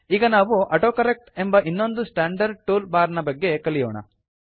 ಈಗ ನಾವು ಆಟೋಕರೆಕ್ಟ್ ಎಂಬ ಇನ್ನೊಂದು ಸ್ಟಾಂಡರ್ಡ್ ಟೂಲ್ ಬಾರ್ ನ ಬಗ್ಗೆ ಕಲಿಯೋಣ